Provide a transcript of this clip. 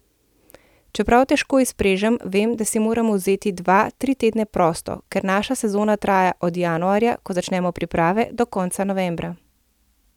Čeprav težko izprežem, vem, da si moram vzeti dva, tri tedne prosto, ker naša sezona traja od januarja, ko začnemo priprave, do konca novembra.